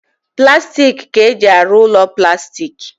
Plastik ka-eji arụ ụlọ plastik